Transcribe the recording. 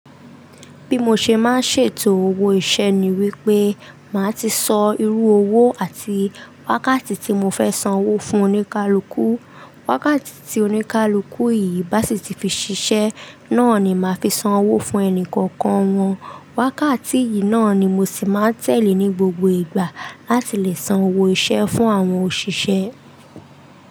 Bí mo ṣe máa ń ṣètò owó iṣẹ́ ni wípé máa ti sọ irú owó àti wákàtí tí mo fẹ́ san owó fún oníkálukú. Wákàtí tí oníkálukú yìí bá sì ti fi ṣiṣẹ́, náà ni màá fi san owó fún ẹni kọ̀ọ̀kan wọn. Wákàtí yìí náà ni mo sì máa ń tẹ̀lé ní gbogbo ìgbà láti lè san owó iṣẹ́ fún àwọn òṣìṣẹ́.